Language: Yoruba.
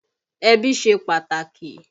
Ẹbí ṣe pàtàkì